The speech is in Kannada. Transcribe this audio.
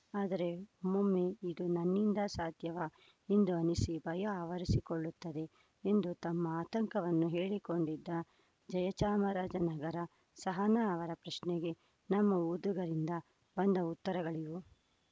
ಆದರೆ ಒಮ್ಮೊಮ್ಮೆ ಇದು ನನ್ನಿಂದ ಸಾಧ್ಯವಾ ಎಂದು ಅನ್ನಿಸಿ ಭಯ ಆವರಿಸಿಕೊಳ್ಳುತ್ತದೆ ಎಂದು ತಮ್ಮ ಆತಂಕವನ್ನು ಹೇಳಿಕೊಂಡಿದ್ದ ಜಯ ಚಾಮರಾಜ ನಗರ ಸಹನಾ ಅವರ ಪ್ರಶ್ನೆಗೆ ನಮ್ಮ ಓದುಗರಿಂದ ಬಂದ ಉತ್ತರಗಳಿವು